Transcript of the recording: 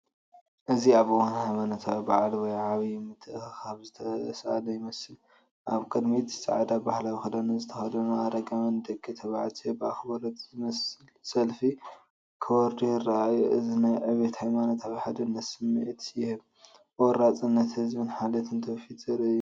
እዚ ኣብ እዋን ሃይማኖታዊ በዓል ወይ ዓቢይ ምትእኽኻብ ዝተሳእለ ይመስል። ኣብ ቅድሚት ጻዕዳ ባህላዊ ክዳንን ዝተኸድኑ ኣረጋውያን ደቂ ተባዕትዮ ብኣኽብሮት ዝመልኦ ሰልፊ ክወርዱ ይረኣዩ። እዚ ናይ ዕብየትን ሃይማኖታዊ ሓድነትን ስምዒት ይህብ፤ ቆራጽነት ህዝብን ሓልዮት ትውፊትን ዘርኢ እዩ።